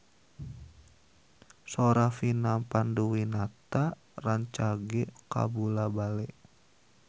Sora Vina Panduwinata rancage kabula-bale